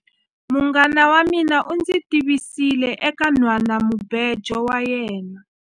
Munghana wa mina u ndzi tivisile eka nhwanamubejo wa yena.